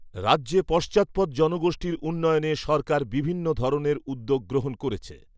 রাজ্যে পশ্চাদপদ জনগোষ্ঠির উন্নয়নে সরকার বিভিন্ন ধরনের উদ্যোগ গ্রহণ করেছে।